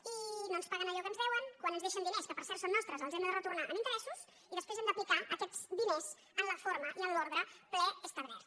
i no ens paguen allò que ens deuen quan ens deixen diners que per cert són nostres els hem de retornar amb interessos i després hem d’apli·car aquests diners en la forma i en l’ordre preestablert